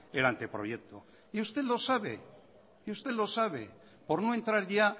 el anteproyecto y usted lo sabe y usted lo sabe por no entrar ya